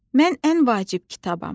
Mən ən vacib kitabam.